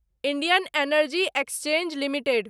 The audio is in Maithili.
Indian energy exchange limited